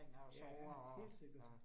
Ja, helt sikkert